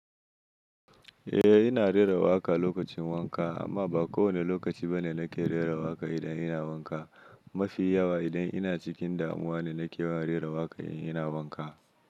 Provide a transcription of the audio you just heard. Eh ina rera waƙa lokacin wanka, amma ba kowane lokaci ba ne nake rera waƙa idan ina wanka. Mafi yawa idan ina cikin damuwa ne nake rera waƙa ina wanka.